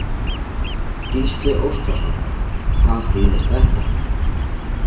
Gísli Óskarsson: Hvað þýðir þetta?